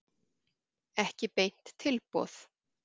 Ekki beint tilboð.